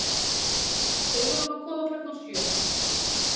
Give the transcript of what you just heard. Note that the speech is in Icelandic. Segðu honum að koma klukkan sjö.